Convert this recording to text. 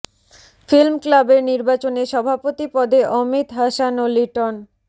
film ক্লাবের নির্বাচনে সভাপতি পদে অমিত হাসান ও লিটন